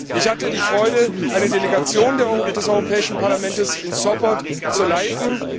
Ich hatte die Freude, eine Delegation des Europäischen Parlaments in Sopot zu leiten.